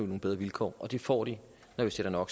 nogle bedre vilkår og det får de når vi sætter no